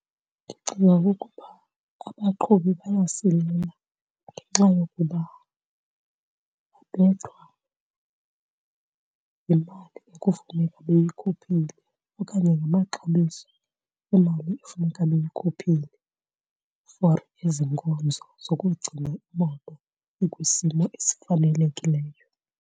Ndicinga ukuba abaqhubi bayasilela ngenxa yokuba babethwa yimali ekufuneka beyikhuphile okanye ngamaxabiso emali efuneka beyikhuphile for ezi nkonzo zokugcina imoto ikwisimo esifanelekileyo.